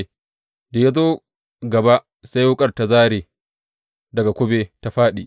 Da ya zo gaba sai wuƙar ta zāre daga kube ta fāɗi.